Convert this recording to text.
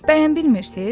Bəyəm bilmirsiz?